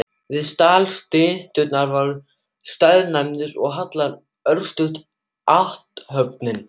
Við stall styttunnar var staðnæmst og haldin örstutt athöfn.